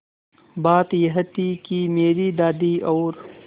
बात यह थी कि मेरी दादी और